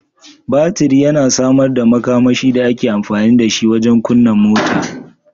Batir yana samar da makamashi da ake amfani da shi don kunna mota